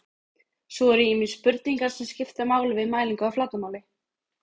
svo eru ýmsar spurningar sem skipta máli við mælingu á flatarmáli